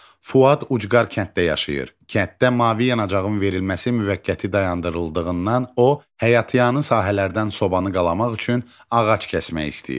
Fuad ucqar kənddə yaşayır, kənddə mavi yanacağın verilməsi müvəqqəti dayandırıldığından o, həyatyanı sahələrdən sobanı qalamaq üçün ağac kəsmək istəyir.